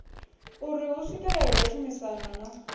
uri hu swikelelwe tshumisano na